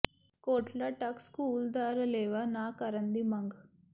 ਕੋਟਲਾ Dhak school ਦਾ ਰਲੇਵਾਾ ਨਾ ਕਰਨ ਦੀ ਮੰਗ